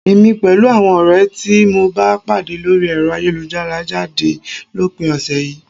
Èmi pẹ̀lú àwọn ọ̀rẹ́ tí mo bá pàdé lórí ẹ̀rọ ayélujára ń jáde lópin ọ̀sẹ̀ yìí